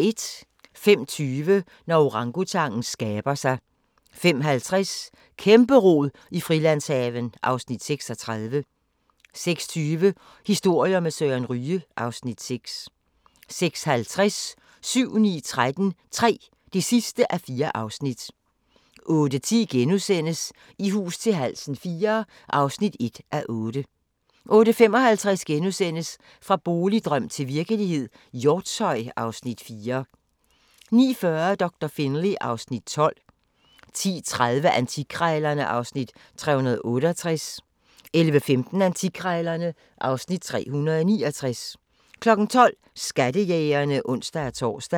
05:20: Når orangutangen skaber sig 05:50: Kæmpe-rod i Frilandshaven (Afs. 36) 06:20: Historier med Søren Ryge (Afs. 6) 06:50: 7-9-13 III (4:4) 08:10: I hus til halsen IV (1:8)* 08:55: Fra boligdrøm til virkelighed – Hjortshøj (Afs. 4)* 09:40: Doktor Finlay (Afs. 12) 10:30: Antikkrejlerne (Afs. 368) 11:15: Antikkrejlerne (Afs. 369) 12:00: Skattejægerne (ons-tor)